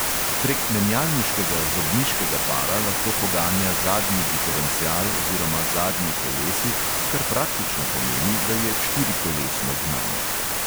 Prek menjalniškega zobniškega para lahko poganja zadnji diferencial oziroma zadnji kolesi, kar praktično pomeni, da je štirikolesno gnan.